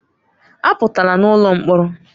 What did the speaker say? Apụtala n'ụlọ mkpọrọ!